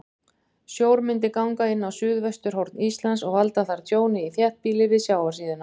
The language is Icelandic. Sjór myndi ganga inn á suðvesturhorn Íslands og valda þar tjóni í þéttbýli við sjávarsíðuna.